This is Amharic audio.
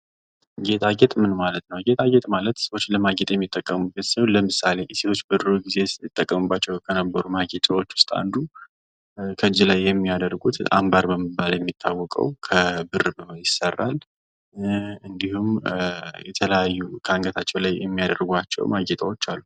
ጌጣጌጥ ምን ማለት ነዉ? ጌጣጌጥ ማለት ሰዎች ለማጌጥ የሚጠቀሙበት ሲሆን ለምሳሌ ሰዎች በእጃቸዉ የሚያደርጉት አንባር ሲሆን እንዲሁም ከአንገታቸዉ የሚያደርጓቸዉ ማጌጫዎች አሉ።